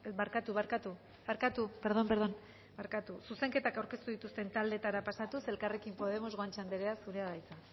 barkatu barkatu perdón perdón barkatu zuzenketa aurkeztu dituzten taldeetara pasatuz elkarrekin podemos guanche anderea zurea da hitza